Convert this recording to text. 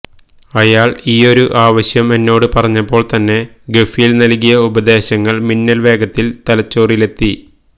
അയാൾ ഈയൊരു ആവശ്യം എന്നോട് പറഞ്ഞപ്പോൾ തന്നെ ഖഫീൽ നൽകിയ ഉപദേശങ്ങൾ മിന്നൽ വേഗത്തിൽ തലച്ചോറിലെത്തി